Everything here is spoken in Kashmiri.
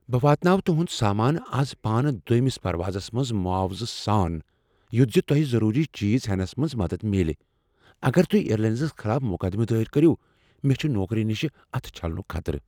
بہٕ واتناوٕ تہنٛد سامانہٕ از پانہٕ دوٚیمس پروازس منز معاوضہٕ سان یتھ زِ تۄہہ ضروری چیز ہینَس منٛز مدد میلہ اگر تہۍ اییر لاینز خلاف مقدمہٕ دٲیر کٔرو، مےٚ چھ نوکری نشہ اتھٕ چھلنک خطرٕ۔